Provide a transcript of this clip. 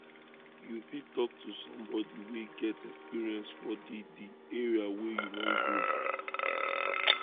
you fit talk to somebody wey get experience for di di area wey you wan grow